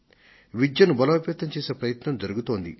విద్యను బలోపేతం చేసే ప్రయత్నం జరుగుతోంది